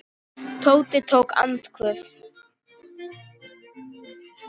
Tóti tók andköf.